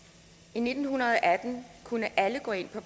i nitten atten kunne alle gå ind på